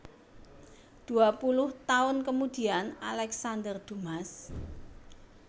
Dua Puluh Tahun Kemudian Alexander Dumas